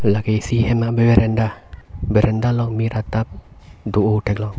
lake isi ahem berenda berenda long mir atap do oh thek long.